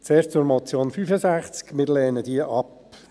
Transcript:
Zuerst zur Motion zum Traktandum 65: Wir lehnen diese ab.